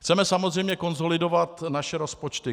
Chceme samozřejmě konsolidovat naše rozpočty.